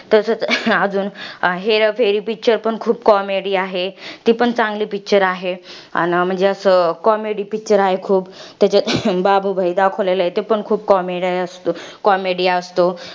तसच, अजून हेराफेरी picture पण खूप comedy आहे. ती पण चांगली picture आहे. अन म्हणजे असं, comedy picture आहे खूप. त्याच्यात बाबू भाई दाखवला आहे, तो पण खूप comedy असतो.